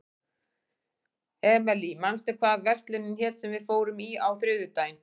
Emely, manstu hvað verslunin hét sem við fórum í á þriðjudaginn?